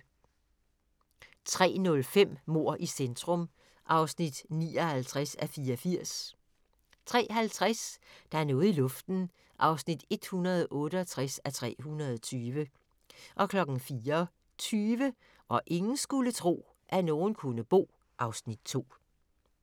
03:05: Mord i centrum (59:84) 03:50: Der er noget i luften (168:320) 04:20: Hvor ingen skulle tro, at nogen kunne bo (Afs. 2)